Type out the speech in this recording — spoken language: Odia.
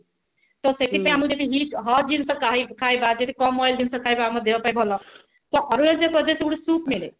ତ ସେତିକି ଆମକୁ ଯଦି ଜିନିଷ ଖାଇବା ଯଦି କମ oil ଜିନିଷ ଖାଇବା ଆମ ଦେହ ପାଇଁ ଭଲ ତ ଅରୁଣାଚଳପ୍ରଦେଶ ରେ ଗୋଟେ soup ମିଳେ